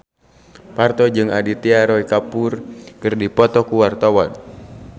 Parto jeung Aditya Roy Kapoor keur dipoto ku wartawan